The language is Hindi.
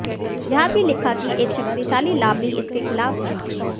यह भी लिखा कि एक शक्तिशाली लाबी इसके खिलाफ है